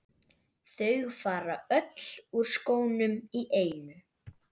Þau fara öll úr skónum í einu.